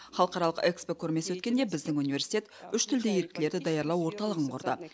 халықаралық экспо көрмесі өткенде біздің университет үш тілді еріктілерді даярлау орталығын құрды